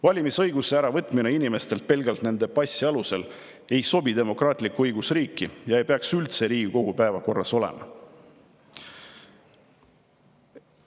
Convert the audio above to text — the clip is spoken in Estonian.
Valimisõiguse äravõtmine inimestelt pelgalt nende passi alusel ei sobi demokraatlikku õigusriiki ja ei peaks üldse Riigikogu päevakorras olema.